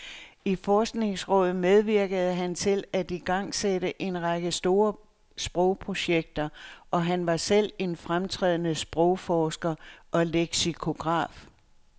I forskningsrådet medvirkede han til at igangsætte en række store sprogprojekter, og han var selv en fremtrædende sprogforsker og leksikograf.